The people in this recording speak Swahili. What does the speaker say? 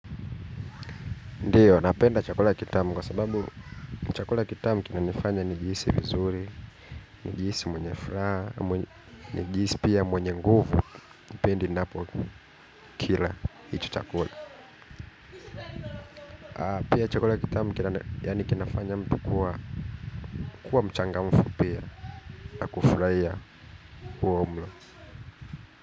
Ndiyo, napenda chakula kitamu kwa sababu chakula kitamu kinanifanya nijihisi vizuri, nijihisi mwenye furaha, nijihisi pia mwenye nguvu, pindi ninapokila hicho chakula. Pia chakula kitamu kinafanya mtu kuwa mchangamfu pia, na kufurahia huo mla.